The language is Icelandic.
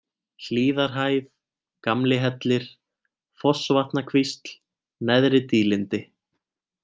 Hlíðarhæð, Gamlihellir, Fossvatnakvísl, Neðri-Dýlindi